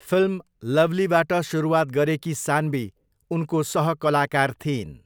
Film लवलीबाट सुरुवात गरेकी सान्वी उनको सहकलाकार थिइन्।